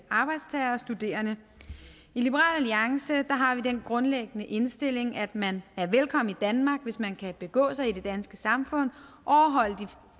arbejdstagere og studerende i liberal alliance har vi den grundlæggende indstilling at man er velkommen i danmark hvis man kan begå sig i det danske samfund overholde de